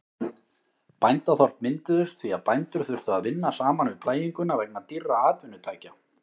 Bændaþorp mynduðust því að bændur þurftu að vinna saman við plæginguna vegna dýrra atvinnutækja.